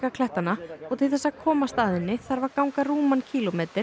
klettana og til þess að komast að henni þarf að ganga rúman